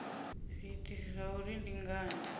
zwiitisi zwa uri ndi ngani